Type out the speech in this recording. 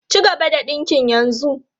Cigaba da dinkin yanzu!